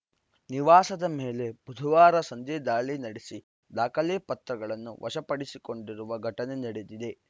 ನಿವಾಸದ ಮೇಲೆ ಬುಧವಾರ ಸಂಜೆ ದಾಳಿ ನಡೆಸಿ ದಾಖಲೆ ಪತ್ರಗಳನ್ನು ವಶಪಡಿಸಿಕೊಂಡಿರುವ ಘಟನೆ ನಡೆದಿದೆ